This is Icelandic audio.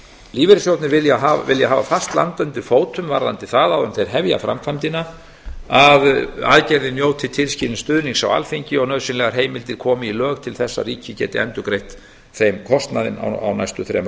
lífeyrissjóðirnir vilja hafa fast land undir fótum áður en þeir hefja framkvæmdina varðandi það að aðgerðin njóti tilskilins stuðnings á alþingi og að nauðsynlegar heimildir komi í lög til þess að ríkið geti endurgreitt þeim kostnaðinn á næstu þremur